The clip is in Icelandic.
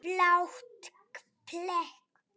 Blátt blek.